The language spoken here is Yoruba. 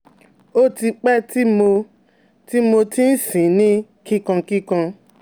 O ti pe ti mo ti mo ti n sin ni kikankikan